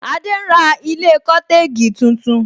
Adé ń ra ilé cotegi tuntun